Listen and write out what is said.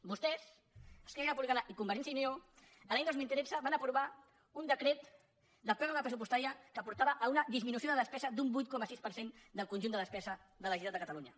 vostès esquerra republicana i convergència i unió l’any dos mil tretze van aprovar un decret de pròrroga pressupostària que portava a una disminució de despesa d’un vuit coma sis per cent del conjunt de despesa de la generalitat de catalunya